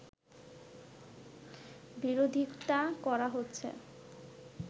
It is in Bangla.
বিরোধিতা করা হচ্ছে